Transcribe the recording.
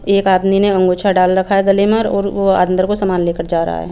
एक आदमी ने अंगोछा डल रखा है गले में और वो अंदर को सामान ले कर जा रहा है।